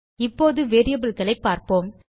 இப்போது வேரியபிள்ஸ் ஐ பார்ப்போம்